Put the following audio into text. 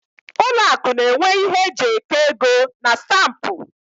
Ụlọ akụ n'enwe ihe eji eke ego na stampụ